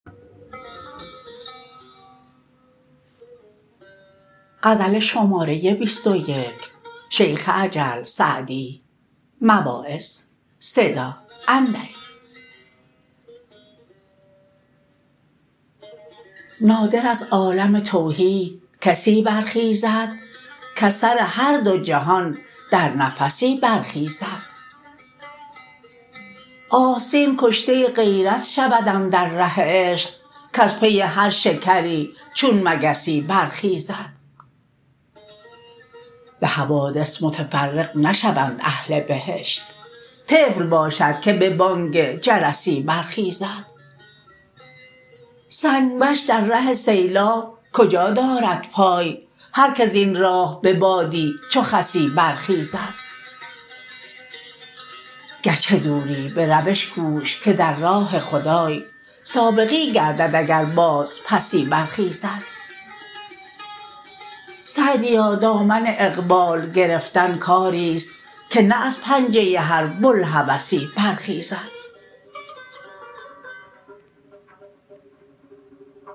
نادر از عالم توحید کسی برخیزد کز سر هر دو جهان در نفسی برخیزد آستین کشته غیرت شود اندر ره عشق کز پی هر شکری چون مگسی برخیزد به حوادث متفرق نشوند اهل بهشت طفل باشد که به بانگ جرسی برخیزد سنگ وش در ره سیلاب کجا دارد پای هر که زین راه به بادی چو خسی برخیزد گرچه دوری به روش کوش که در راه خدای سابقی گردد اگر بازپسی برخیزد سعدیا دامن اقبال گرفتن کاریست که نه از پنجه هر بوالهوسی برخیزد